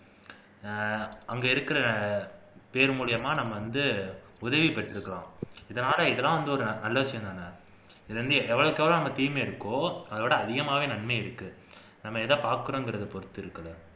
அஹ் அங்க இருக்கிற பேர் மூலமா நம்ம வந்து உதவி பெற்றுக்கலாம் இதெல்லாம் ஒரு நல்ல விஷயம் தான இதுல வந்து எவளவுக்கு எவளவு தீமை இருக்கோ அதவிட அதிகமாவே நன்மை இருக்கு நம்ம எதை பாக்குறோம்ங்கிறதை பொறுத்து இருக்கு